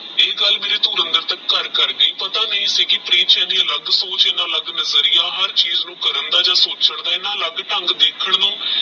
ਇਹ ਗੱਲ ਹੁਣ ਤੇ ਅਨਾਦਰ ਤਕ ਕਰ ਗਯੀ ਪਤਾ ਨਹੀ ਸੀ ਕੀ ਪ੍ਰੀਤ ਚ ਇਹਨੀ ਅਲਗ ਸੋਚ ਇਹਨਾ ਅਲਗ ਨਜ਼ਰਿਯਾ ਹਰ ਚੀਜ਼ ਦਾ ਕਰਨ ਯਾ ਸੋਚਾਂ ਦਾ ਇਹਨਾ ਅਲਗ ਢੰਗ ਦੇਖਣ ਨੂ